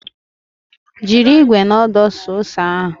Jiri ikwe na odo suo ose ahu